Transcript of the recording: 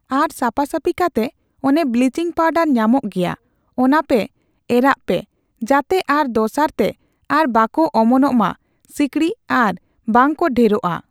ᱟᱨ ᱥᱟᱯᱟ-ᱥᱟᱯᱤ ᱠᱟᱛᱮᱜ ᱚᱱᱮ ᱵᱞᱤᱪᱤᱝ ᱯᱟᱣᱰᱟᱨ ᱧᱟᱢᱚᱜ ᱜᱮᱭᱟ, ᱚᱱᱟ ᱯᱮ ᱮᱨᱟᱜᱼᱟ ᱯᱮ ᱡᱟᱛᱮ ᱟᱨ ᱫᱚᱥᱟᱨ ᱛᱮ ᱟᱨ ᱵᱟᱠᱚ ᱚᱢᱚᱱᱚᱜ ᱢᱟ ᱥᱤᱠᱬᱤᱡ ᱟᱨ ᱵᱟᱝ ᱠᱚ ᱰᱷᱮᱨᱳᱜᱼᱟ ᱾